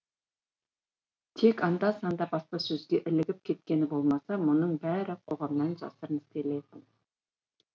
тек анда санда баспасөзге ілігіп кеткені болмаса мұның бәрі қоғамнан жасырын істелетін